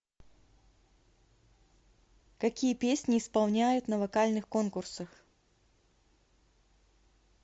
какие песни исполняют на вокальных конкурсах